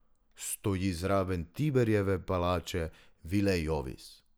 Stoji zraven Tiberijeve palače, vile Jovis.